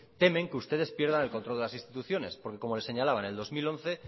temen que ustedes pierdan el control de las instituciones porque como le señalaba en el dos mil once